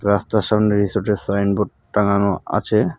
রাস্তার সামনে রিসোর্টের সাইন বোর্ড টাঙ্গানো আছে.